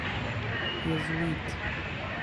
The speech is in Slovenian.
Jezuit.